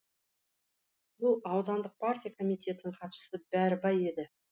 бұл аудандық партия комитетінің хатшысы бәрібай еді